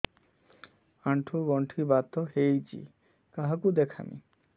ଆଣ୍ଠୁ ଗଣ୍ଠି ବାତ ହେଇଚି କାହାକୁ ଦେଖାମି